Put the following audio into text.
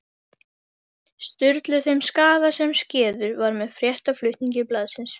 Sturlu þeim skaða sem skeður var með fréttaflutningi blaðsins.